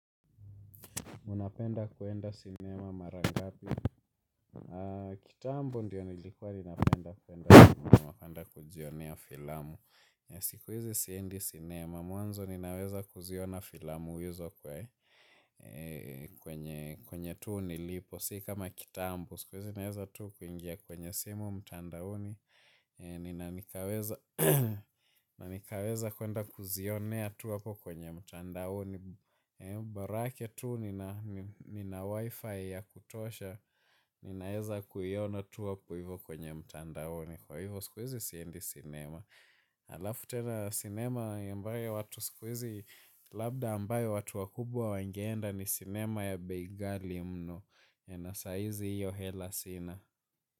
Unapenda kuenda sinema mara ngapi? Kitambo ndiyo nilikuwa ninapenda kuenda sinema. Unapenda kujionea filamu. Sikuhizi siendi sinema. Mwanzo ninaweza kuziona filamu hizo kwa kwenye tu nilipo si kama kitambo. Siku hizi naweza tu kuingia kwenye simu mtandaoni. Nina nikaweza kuenda kuzionea tu hapo kwenye mtandaoni. Bora yake tu nina wifi ya kutosha ninaeza kuiona tu hapu hivyo kwenye mtandaoni kwa hivyo sikuhizi siendi sinema alafu tena sinema ambayo watu sikuhizi labda ambayo watu wakubwa wangeenda ni sinema ya bei ghali mno na sahizi hiyo hela sina.